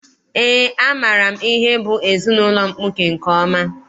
Eé, amaara m ihe bụ ezinaụlọ mkpuke nke ọma.